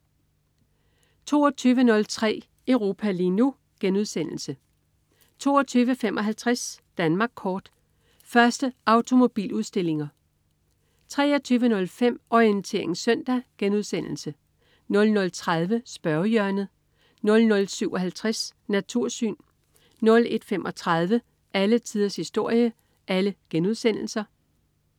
22.03 Europa lige nu* 22.55 Danmark Kort. Første automobiludstillinger 23.05 Orientering Søndag* 00.30 Spørgehjørnet* 00.57 Natursyn* 01.35 Alle tiders historie*